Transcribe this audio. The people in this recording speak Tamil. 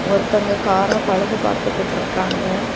ஒருத்தங்க கார பழுது பாத்துட்டு இருக்காங்க.